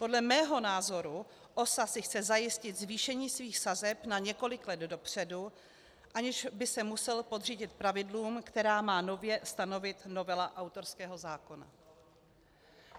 Podle mého názoru si OSA chce zajistit zvýšení svých sazeb na několik let dopředu, aniž by se musela podřídit pravidlům, která má nově stanovit novela autorského zákona.